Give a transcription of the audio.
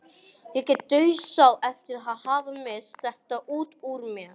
Ég dauðsá eftir að hafa misst þetta út úr mér.